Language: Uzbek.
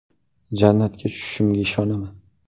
Jannatga tushishimga ishonaman.